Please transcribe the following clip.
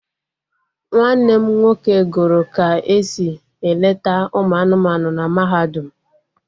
Nwanne m nwoke gụrụ ka esi eleta ụmụ anụmanụ na mahadum